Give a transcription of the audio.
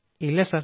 ഇല്ല സർ